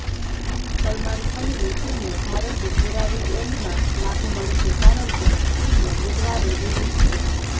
સલમાન ખાનની ફિલ્મ ભારતે પૂરા વીકએન્ડમાં લાભ મળશે કારણકે ફિલ્મ બુધવારે રિલીઝ થઇ